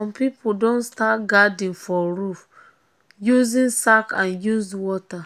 some people don start garden for roof using sack and used water.